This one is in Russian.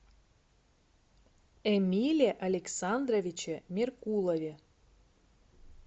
эмиле александровиче меркулове